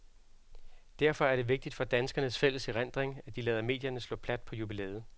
Derfor er det vigtigt for danskernes fælles erindring, at de lader medierne slå plat på jubilæet.